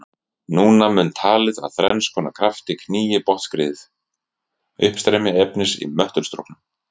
Núna mun talið að þrenns konar kraftar knýi botnskriðið: Uppstreymi efnis í möttulstrókum.